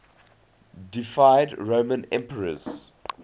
deified roman emperors